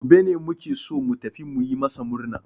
Gobe ne muke so mu tafi mu yi masu murna.